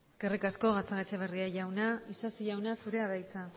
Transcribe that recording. eskerrik asko gatzagaetxebarria jauna isasi jauna zurea da hitza